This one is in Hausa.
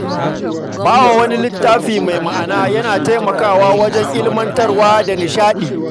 Ba wa wani littafi mai ma’ana yana taimakawa wajen ilmantarwa da nishaɗi.